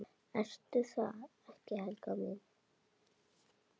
Ertu það ekki, Helga mín?